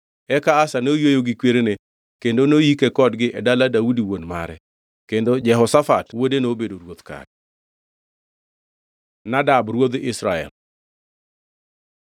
Eka Asa noyweyo gi kwerene kendo noyike kodgi e dala Daudi wuon mare. Kendo Jehoshafat wuode nobedo ruoth kare. Nadab ruodh Israel